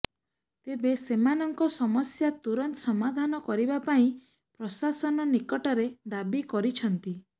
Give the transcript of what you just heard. ତେବେ ସେମାନଙ୍କ ସମସ୍ୟା ତୁରନ୍ତ ସମାଧାର କରିବା ପାଇଁ ପ୍ରଶାସନ ନିକଟରେ ଦାବି କରିଛନ୍ତି